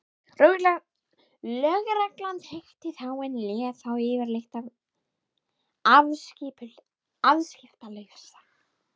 Lögreglan þekkti þá en lét þá yfirleitt afskiptalausa.